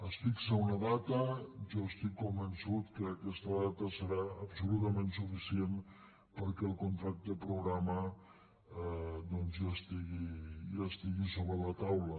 es fixa una data jo estic convençut que aquesta data serà absolutament suficient perquè el contracte programa doncs ja estigui sobre la taula